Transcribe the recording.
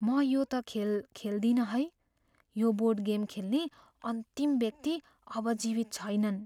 म यो त खेल खेल्दिनँ है। यो बोर्ड गेम खेल्ने अन्तिम व्यक्ति अब जीवित छैनन्।